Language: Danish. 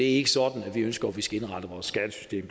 ikke sådan vi ønsker vores skattesystem